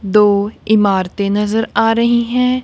दो इमारतें नजर आ रही है।